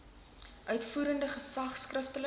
uitvoerende gesag skriftelik